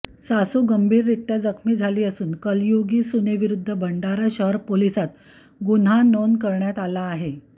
सासू गंभीररित्या जखमी झाली असून कलयुगी सुनेविरुद्ध भंडारा शहर पोलिसात गुन्हा नोंद करण्यात आला आहे